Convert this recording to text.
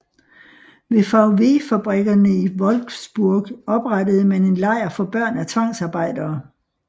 Ved VW fabrikkerne i Wolfsburg oprettede man en lejr for børn af tvangsarbejdere